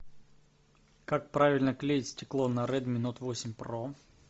как правильно клеить стекло на редми нот восемь про